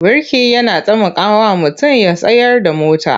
Birki yana tamakawa mutum ya tsayar da mota.